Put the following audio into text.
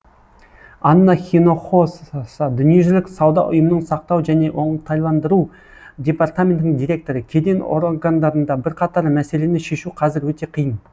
анна хинохосса дүниежүзілік сауда ұйымының сақтау және оңтайландыру департаментінің директоры кеден органдарында бірқатар мәселені шешу қазір өте қиын